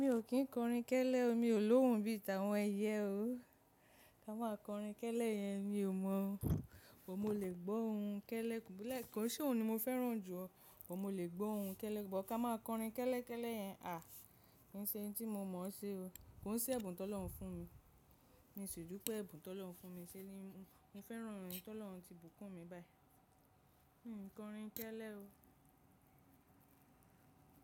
Mi ò kín kọrin kẹ́lẹ́, ọ mi ò lóhùn bí i tà wọn ẹ̀yẹ o. Tà ma kọrin kẹ́lẹ́ yẹn mi ò mọ̀ ọ́n, bọ̀ mo lè gbó ohun kẹ́lẹ́ lèkan kò ṣé òun ni mo fẹ́ràn jù ọ́n, bọ̀ mo lè gbó ohun kẹ́lẹ́. Bo ka máa kọrin kẹ́lẹ́ kẹ́lẹ́ yẹn à, kì í ṣe ohun tí mo mọ̀ ọ́n ṣe o. Kò ń ṣe ẹ̀bùn tó lọ́hùn fún mi. Mi ṣi dupé ẹ̀bùn tó lọ́hùn fún mi ṣé ni mo fẹ́ràn ohun tí Ọlọ́run ti bùkún mi báyìí. Ń kọrin kẹ́lẹ́ o.